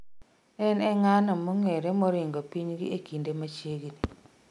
En e ng'ano mong'ere moringo pinygi e kinde machiegni